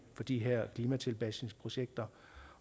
på de her klimatilpasningsprojekter